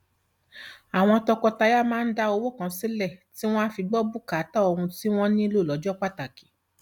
àwọn tọkọtaya máa ń dá owó kan sílẹ tí wọn á fi gbọ bùkátà ohun tí wọn nílò lọjọ pàtàkì